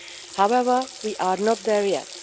However, we are not there yet.